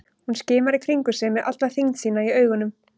Hún skimar í kringum sig með alla þyngd sína í augunum.